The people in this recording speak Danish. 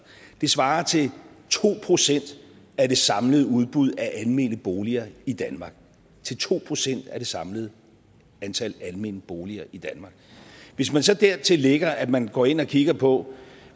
det svarer til to procent af det samlede udbud af almene boliger i danmark to procent af det samlede antal almene boliger i danmark hvis man så dertil lægger at man går ind og kigger på